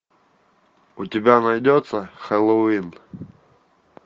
у тебя найдется хэллоуин